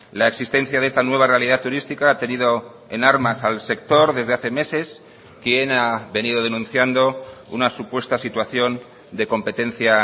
la existencia de esta nueva realidad turística ha tenido en armas al sector desde hace meses quien ha venido denunciando una supuesta situación de competencia